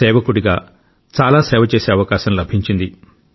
సేవకుడిగా చాలా సేవ చేసే అవకాశం లభించింది